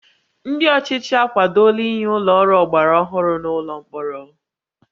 Ndị ọchịchị akwadola inye ụlọ ọrụ ọgbara ọhụrụ n'ụlọ mkpọrọ